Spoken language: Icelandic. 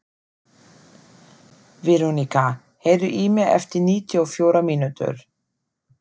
Verónika, heyrðu í mér eftir níutíu og fjórar mínútur.